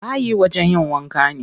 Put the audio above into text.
Bayi wajen yin wanka ne.